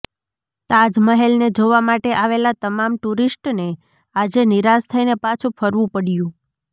તાજ મહેલને જોવા માટે આવેલા તમામ ટુરિસ્ટને આજે નિરાશ થઈને પાછું ફરવું પડ્યું